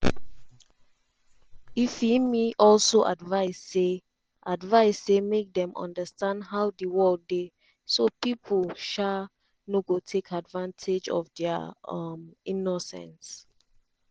ifiemi also advice say advice say make dem understand how di world dey so pipo um no go take advantage of dia um innocence.